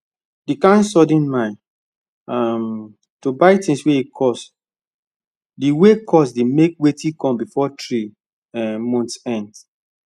the kind sudden mind um to buy things wey cost dey wey cost dey make wetin come before three um months end